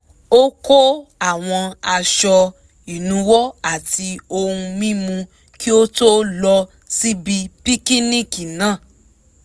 ó kó àwọn aṣọ ìnuwọ́ àti ohun mímu kí ó tó lọ síbi píkíníkì náà